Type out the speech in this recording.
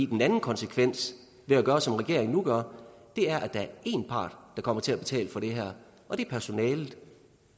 den anden konsekvens ved at gøre som regeringen nu gør er at der er en part der kommer til at betale for det her og det er personalet